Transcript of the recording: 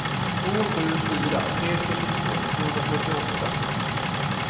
två sju fyra tre sjuttiotvå tvåhundrafyrtioåtta